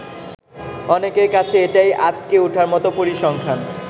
অনেকের কাছে এটাই আঁতকে উঠার মতো পরিসংখ্যান।